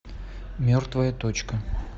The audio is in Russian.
мертвая точка